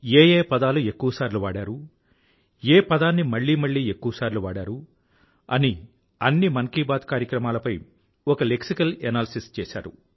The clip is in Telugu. ఏ ఏ పదాలు ఎక్కువ సార్లు వాడారు ఏ పదాన్ని మళ్ళీ మళ్ళీ ఎక్కువసార్లు వాడారు అని అన్ని మన్ కీ బాత్ కార్యక్రమాలపై ఒక లెక్సికల్ అనాలిసిస్ చేశారు